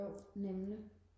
jo nemlig